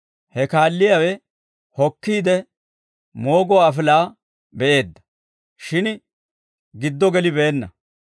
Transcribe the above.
He kaalliyaawe hokkiide, mooguwaa afilaa be'eedda; shin giddo gelibeenna.